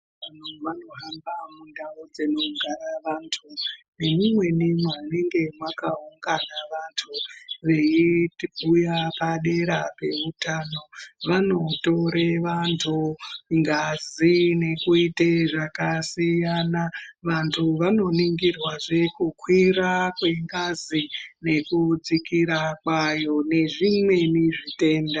Vanhu vanohamba mundau dzinogara vantu nemumweni munenge mwakaungana vantu veibhuya padera peutano vanotore vantu ngazi nekuite zvakasiyana vantu vanoningirwe zve kukwira kwengazi nekudzikira kwayo nezvimweni zvitenda.